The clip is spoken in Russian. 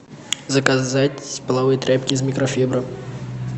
заказать половые тряпки из микрофибры